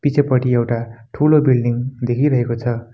पिछेपटि एउटा ठूलो बिल्डिङ्ग देखिरहेको छ।